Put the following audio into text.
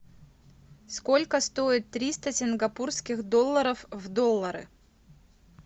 сколько стоит триста сингапурских долларов в доллары